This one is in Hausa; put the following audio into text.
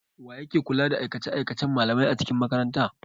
Wa yake kula da aikace-aikacen malamai a cikin makaranta?